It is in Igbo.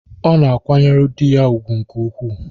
Ọ na-akwanyere di ya ùgwù nke ukwuu.